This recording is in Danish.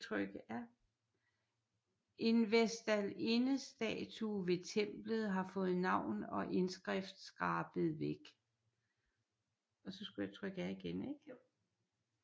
En vestalindestatue ved templet har fået navn og indskrift skrabet væk